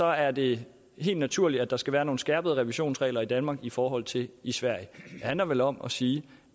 er det helt naturligt at der skal være nogle skærpede revisionsregler i danmark i forhold til i sverige det handler vel om at sige